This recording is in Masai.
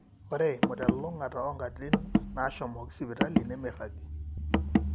ore eimu telulungata oonkatitin naashomoki sipitali nemeiragi